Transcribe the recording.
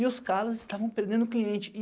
E os caras estavam perdendo cliente.